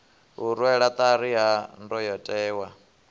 u rwelwa ṱari ha ndayotewa